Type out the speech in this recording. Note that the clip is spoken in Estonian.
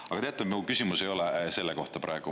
Aga teate, mu küsimus ei ole selle kohta praegu.